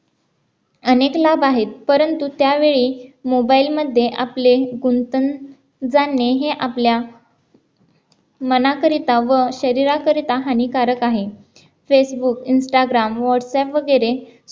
अनेक लाभ आहेत परंतु त्यावेळी mobile मध्ये आपले गुंतन जाणे हे आपल्या मनाकरिता व शरीराकरिता हानीकारक आहे फेसबुक, इंस्टाग्राम, व्हाट्सएप्प वगैर